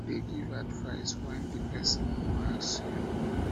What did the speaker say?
no dey give advice when di um person no um ask you